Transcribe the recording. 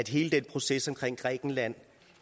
hele den proces omkring grækenland